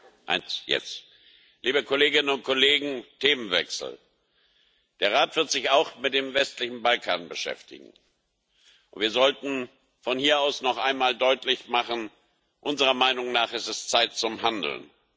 Frau Präsidentin, liebe Kolleginnen und Kollegen! Themenwechsel Der Rat wird sich auch mit dem westlichen Balkan beschäftigen, und wir sollten von hier aus noch einmal deutlich machen Unserer Meinung nach ist es Zeit zum Handeln.